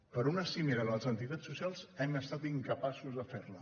però una cimera amb les entitats socials hem estat incapaços de fer la